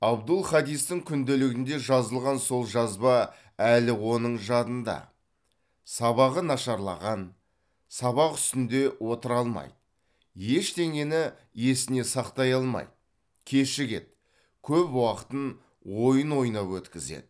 абдул хадистің күнделігінде жазылған сол жазба әлі оның жадында сабағы нашарлаған сабақ үстінде отыра алмайды ештеңені есіне сақтай алмайды кешігеді көп уақытын ойын ойнап өткізеді